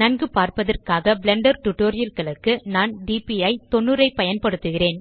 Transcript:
நன்கு பார்ப்பதற்காக blender tutorial களுக்கு நான் DPI90 ஐ பயன்படுத்துகிறேன்